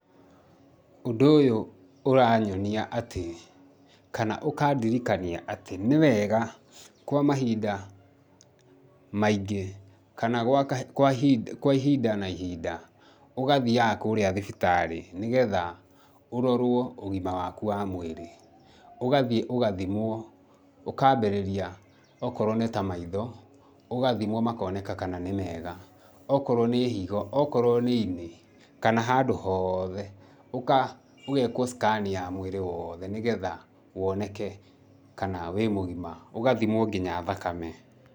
Ũndũ ũyũ ũranyonia atĩ, kana ũkandirikania atĩ nĩ wega kwa mahinda maingĩ kana gwa kwa ihinda kwa ihinda na ihinda ũgathiaga kũrĩa thibitarĩ nĩgetha ũrorwo ũgima waku wa mwĩrĩ. Ũgathiĩ ũgathimwo ũkaambĩrĩria okorwo nĩ ta maitho, ũgathimwo makoneka kana nĩ mega. Okorowo nĩ higo, okorwo nĩ ini, kana handũ hothe. Ũgeekwo scan ya mwĩrĩ wothe nĩgetha woneke kana wĩ mũgima, ũgathimwo nginya thakame.